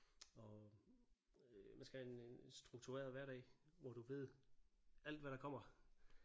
Og øh man skal have en en struktureret hverdag hvor du ved alt hvad der kommer